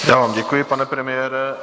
Já vám děkuji, pane premiére.